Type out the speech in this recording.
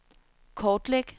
kortlæg